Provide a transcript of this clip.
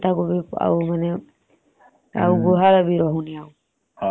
ଗାଈ ଆମର ଗୋମାତା ଆଉ ଗୁହାଳ ବି ରାହୁଣି ଆଉ ଆଗରୁ ଯେମତି ରାହୁଥିଲା। ଏବେ ବହୁତ ବହୁତ ବଦଳିଗଲାଣି।